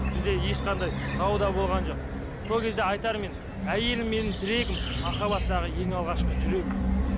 бізде ешқандай дау да болған жоқ сол кезде айтарым менің әйелім менің тірегім махаббаттағы ең алғашқы жүрегім міне